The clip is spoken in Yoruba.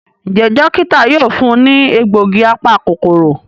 Njé Dókítà yóò fún ní egbògi apa-kòkòrò.